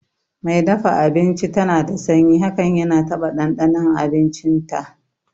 Mai dafa abinci dana da sanyi hakan yana taba ɗanɗanon abinci nata